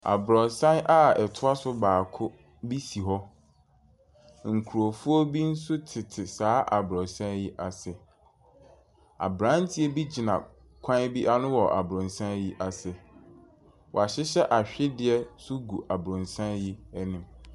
Aborosan a ɛtoa so baako bi si hɔ. Nkurɔfoɔ bi nso tete saa aborosan yi ase. Abranteɛ bi gyina kwan bi ano wɔ aborosan yi ase. Wahyehyɛ ahwedeɛ nso gu aborosan yi anim.